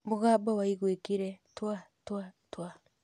Mũgambo waiguĩkire "Twa! Twa! Twa!"